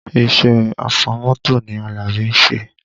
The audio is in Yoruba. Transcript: Iṣẹ́ afọmọ́tò ni Alabi ń ṣe